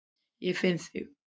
Ég finn þig.